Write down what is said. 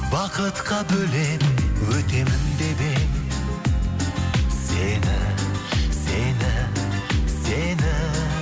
бақытқа бөлеп өтемін деп едім сені сені сені